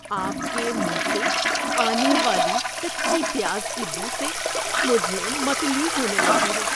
آپ کے منہ سے آنے والی کچی پیاز کی بو سے مجھے متلی ہونے لگی ہے۔